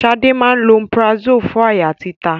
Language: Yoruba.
Ṣadé máa ń lo omeprazole fún àyà títa